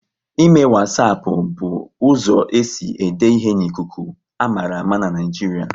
Ịme wasapu bụ uzo esi ede ihe n'ikuku, a mara ama n'Naijiria